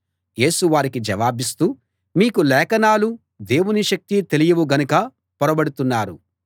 యేసు వారికి జవాబిస్తూ మీకు లేఖనాలు దేవుని శక్తి తెలియవు గనుక పొరబడుతున్నారు